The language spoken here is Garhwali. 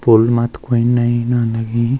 पुल मा तो कुई नयी न लगीं।